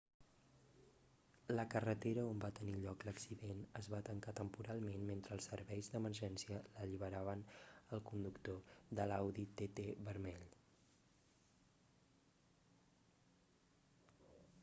la carretera on va tenir lloc l'accident es va tancar temporalment mentre els serveis d'emergència alliberaven el conductor de l'audi tt vermell